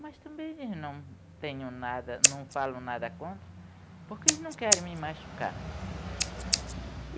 Mas também eles não tenham nadan não falam nada contra, porque eles não querem me machucar.